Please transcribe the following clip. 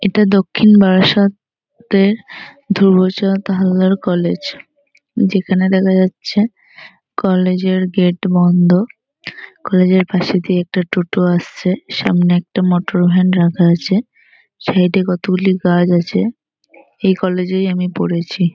এটা দক্ষিণ বারাসাত তের ধ্রুবচাঁদ হালদার কলেজ । যেখানে দেখা যাচ্ছে কলেজ এর গেট বন্ধ। কলেজ এর পাশে দিয়ে একটা টোটো আসছে। সামনে একটা মোটর ভ্যান রাখা আছে। সাইড এ কতগুলি গাছ আছে। এই কলেজ - এই আমি পড়েছি।